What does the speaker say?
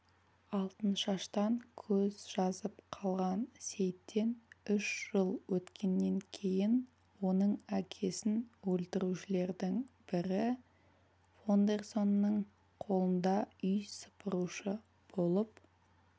алтыншаштан көз жазып қалған сейтен үш жыл өткеннен кейін оның әкесін өлтірушілердің бірі фондерсонның қолында үй сыпырушы болып